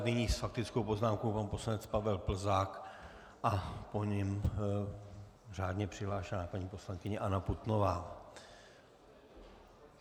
Nyní s faktickou poznámkou pan poslanec Pavel Plzák a po něm řádně přihlášená paní poslankyně Anna Putnová.